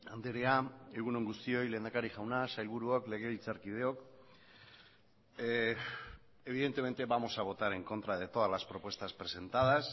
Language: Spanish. andrea egun on guztioi lehendakari jauna sailburuok legebiltzarkideok evidentemente vamos a votar en contra de todas las propuestas presentadas